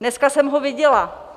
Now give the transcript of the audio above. Dneska jsem ho viděla.